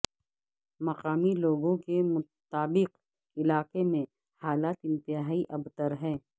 مقامی لوگوں کے مطابق علاقے میں حالت انتہائی ابتر ہے